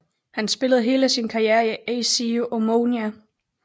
Han spillede hele sin karriere i AC Omonia